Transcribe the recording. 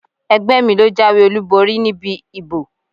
Ẹgbẹ́ mi ló jáwé olúborí níbi ìbò.